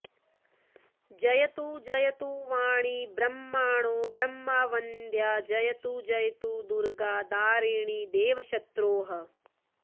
जयतु जयतु वाणी ब्रह्मणो ब्रह्मवन्द्या जयतु जयतु दुर्गा दारिणी देवशत्रोः